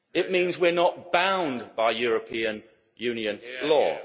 It means we are not bound by European Union law.